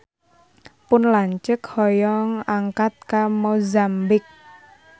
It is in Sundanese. Pun lanceuk hoyong angkat ka Mozambik